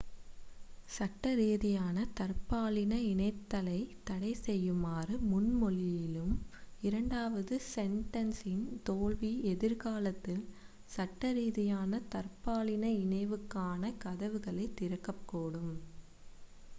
சட்டரீதியான தற்பாலின இணைதலைத் தடைசெய்யுமாறு முன்மொழியும் இரண்டாவது செண்டென்ஸின் தோல்வி எதிர்காலத்தில் சட்டரீதியான தற்பாலின இணைவுக்கான கதவுகளைத் திறக்கக்கூடும்